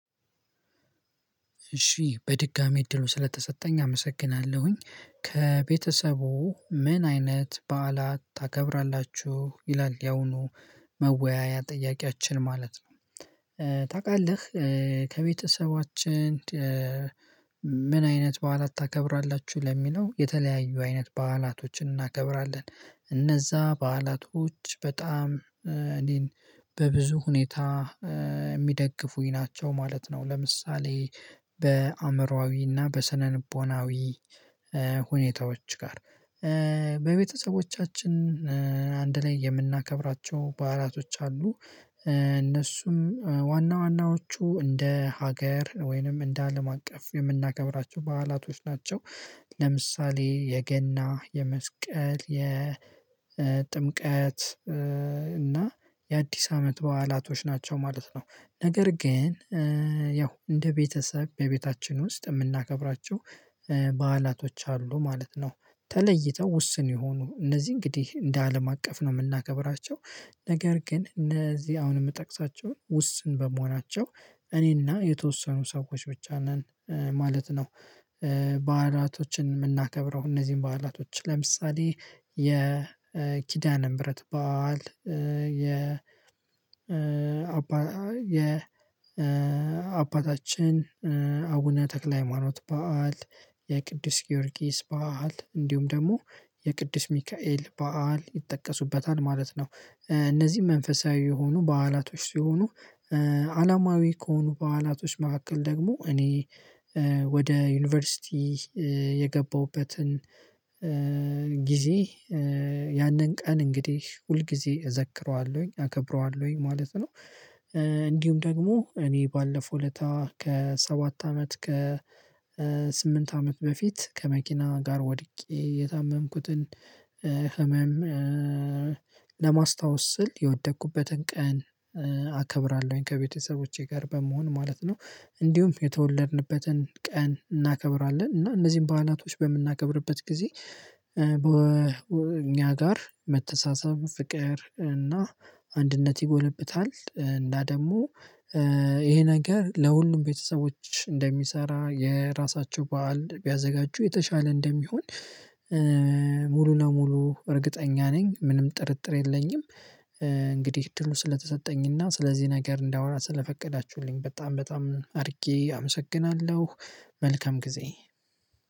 እሺ በድጋሚ እድሉ ስለተሰጠኝ አመሰግናለሁኝ። ከቤተሰቡ ምን አይነት በዓላት ታከብራላችሁ ይላል። የአሁኑ መወያያ ጥያቄያችን ማለት ነው። ታውቃለህ? ከቤተሰባችን ምን አይነት በዓላት ታከብራላችሁ ለሚለው የተለያዩ አይነት በዓላቶችን እናከብራለን። እነዛ በዓላቶች በጣም እኔን በብዙ ሁኔታ የሚደግፉኝ ናቸው ማለት ነው። ለምሳሌ በአእምሮአዊና በስነንቦናዊ ሁኔታዎች ጋር በቤተሰቦቻችን አንድ ላይ የምናከብራቸው በዓላቶች አሉ። እነሱም ዋና ዋናዎቹ እንደ ሀገር ወይንም እንደ አለም አቀፍ የምናገራቸው በዓላቶች ናቸው። ለምሳሌ የገና የመስቀል የጥምቀት እና የአዲስ አመት በዓላቶች ናቸው ማለት ነው። ነገር ግን ያው እንደ ቤተሰብ በቤታችን ውስጥ የምናከብራቸው በዓላቶች አሉ ማለት ነው። ተለይተው ውስን የሆኑ እነዚህ እንግዲህ እንደ አለም አቀፍ ነው የምናከብራቸው። ነገር ግን እነዚህ አሁን የምጠቅሳቸውን ውስን በመሆናቸው እኔና የተወሰኑ ሰዎች ብቻ ነን ማለት ነው። በዓላቶችን የምናከብረው እነዚህን በዓላቶች ለምሳሌ የኪዳነ ምህረት በዓል። የ አባታችን አቡነ ተክለ ሃይማኖት በዓል የቅዱስ ጊዮርጊስ በዓል እንዲሁም ደግሞ የቅድስ ሚካኤል በዓል ይጠቀሱበታል ማለት ነው። እነዚህ መንፈሳዊ የሆኑ በዓላቶች ሲሆኑ። አለማዊ ከሆኑ በዓላቶች መካከል ደግሞ እኔ ወደ ዩኒቨርሲቲ የገባሁበትን ጊዜ ያንን ቀን እንግዲህ ሁልጊዜ እዘክረዋለሁኝ አከብረዋለሁኝ ማለት ነው። እንዲሁም ደግሞ እኔ ባለፈው ለታ ከሰባት አመት ከስምንት አመት በፊት ከመኪና ጋር ወድቄ የታመምኩትን ህመም ለማስታወስ ስል የወደኩበትን ቀን አከብራለሁኝ ከቤተሰቦቼ ጋር በመሆን ማለት ነው። እንዲሁም የተወለድንበትን ቀን እናከብራለን እና እነዚህን ባህላቶች በምናከብርበት ጊዜ በእኛ ጋር መተሳሰብ ፍቅር እና አንድነት ይጎለብታል። እና ደግሞ ይሄ ነገር ለሁሉም ቤተሰቦች እንደሚሰራ የራሳቸው በዓል ቢያዘጋጁ የተሻለ እንደሚሆን። ሙሉ ለሙሉ እርግጠኛ ነኝ ምንም ጥርጥር የለኝም። እንግዲህ እድሉ ስለተሰጠኝና ስለዚህ ነገር እንዳወራ ስለፈቀዳችሁልኝ በጣም በጣም አድርጌ አመሰግናለሁ። መልካም ጊዜ።